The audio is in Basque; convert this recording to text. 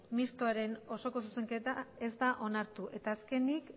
mistoaren osoko zuzenketa ez da onartu eta azkenik